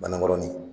Banna gɔni